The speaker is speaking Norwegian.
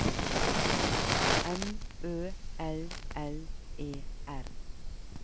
M Ø L L E R